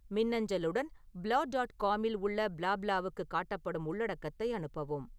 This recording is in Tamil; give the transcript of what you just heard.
மின்னஞ்சலுடன் ப்ளா டாட் காமில் உள்ள ப்ளாப்லாவுக்குக் காட்டப்படும் உள்ளடக்கத்தை அனுப்பவும்